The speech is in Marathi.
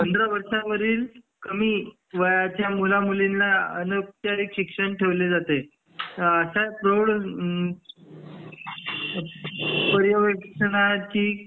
पंधरा वर्षावरील कमी मुला मुलींना अनौपचारिक शिक्षण ठेवले जाते हा असा प्रौढ पर्यवेक्षणची